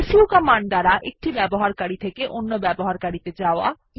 সু কমান্ড দ্বারা এক ইউসার থেকে ইউসার এ যাওয়া